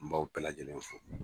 N b'aw bɛɛ lajɛlen fo